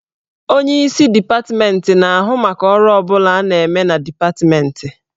Onyeisi dipatmentị na-ahụ maka ọrụ ọ bụla a na-eme na dipatmentị.